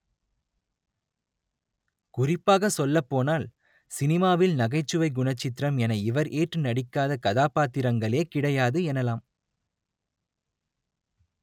குறிப்பாக சொல்லப்போனால் சினிமாவில் நகைச்சுவை குணச்சித்திரம் என இவர் ஏற்று நடிக்காத கதாபாத்திரங்களே கிடையாது எனலாம்